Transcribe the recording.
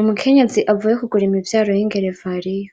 Umukenyezi avuye kugura imivyaro y'ingerevariya,